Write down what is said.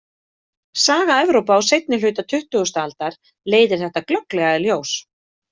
Saga Evrópu á seinni hluta tuttugustu aldar leiðir þetta glögglega í ljós.